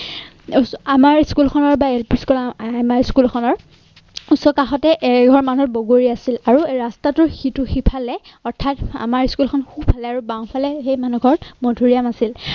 আমাৰ school খনৰ বাহিৰ আমাৰ school খনৰ ওচৰ কাষতে এঘৰ মানুহৰ বগৰী আছিল আৰু ৰাস্তাটোৰ সিটো সিফালে অথাৎ আমাৰ school খন সোঁ ফালে আৰু বাওঁ ফালে সেই মানুহ ঘৰ মাধুৰীআম আছিল